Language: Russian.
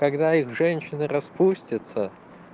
когда их женщины распустятся